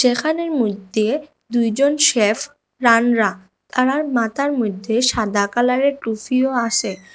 এখানের মদ্যে দুইজন সেফ আর মাথার মদ্যে সাদা কালারের টুফিও আসে।